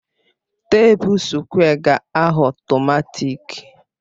teepu sukwé ga-aghọ ọtọmatịk